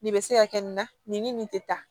Nin bɛ se ka kɛ nin na nin ni nin tɛ tan